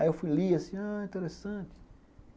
Aí eu fui e li, assim, ah, interessante.